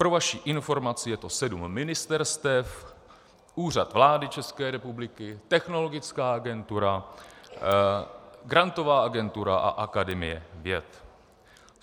Pro vaši informaci, je to sedm ministerstev, Úřad vlády České republiky, Technologická agentura, Grantová agentura a Akademie věd.